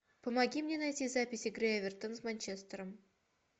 помоги мне найти запись игры эвертон с манчестером